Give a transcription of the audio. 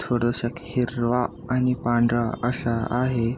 थोडसक हिरवा आणि पांढरा असा आहे.